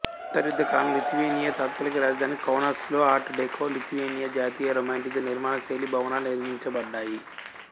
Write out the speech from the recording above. అంతర్యుద్ధ కాలంలో లిథువేనియా తాత్కాలిక రాజధాని కౌనాస్లో ఆర్ట్ డెకో లిథువేనియన్ జాతీయ రొమాంటిసిజం నిర్మాణ శైలి భవనాలు నిర్మించబడ్డాయి